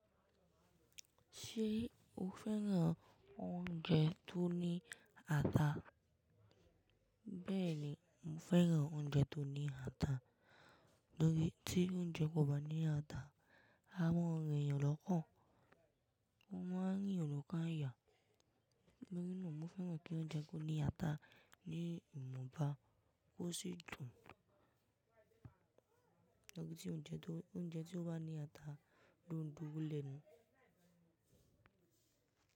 Ṣé o fẹ́ràn oúnjẹ tó ní ata? Bẹ́ẹ̀ni, mo fẹ́ràn oúnjẹ tó ní ata, lórí tí oúnjẹ kò bá ní ata, a máa rìn eeyan lọ́kàn. A máa ń rí òrùka ìyà. Nígbà náà mo fẹ́ràn kí oúnjẹ kó ní ata, ní ìmunba, ó sì dùn. Lórí tí oúnjẹ tó, oúnjẹ tí ó bá ní ata dún dùn lẹ́nu.